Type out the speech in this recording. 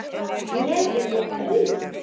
Ég yrði ein.